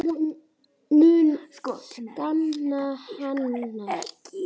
Ég mun sakna hennar.